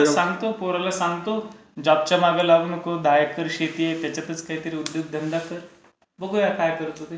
सांगतो पोराला सांगतो. जॉबच्या मागे लागू नको. दहा एकर शेती आहे त्याच्यातच काही उद्योगधंदा कर. बघूया काय करतो ते.